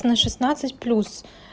на шестнадцать плюс